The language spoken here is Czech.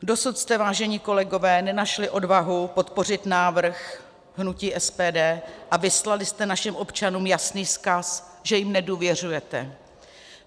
Dosud jste, vážení kolegové, nenašli odvahu podpořit návrh hnutí SPD a vyslali jste našim občanům jasný vzkaz, že jim nedůvěřujete.